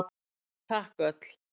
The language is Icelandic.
Takk öll!